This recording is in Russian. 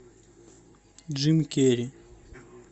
джим керри